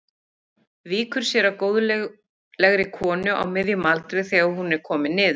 Samruni eggfrumu og sáðfrumu væri óháður því hvaða eindir þær bæru.